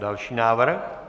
Další návrh?